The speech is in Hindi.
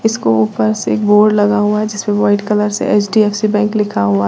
इसको ऊपर से एक बोर्ड लगा हुआ है जिसपे वाइट कलर से एच_डी_एफ_सी बैंक लिखा हुआ--